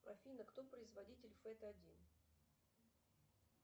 афина кто производитель фэт один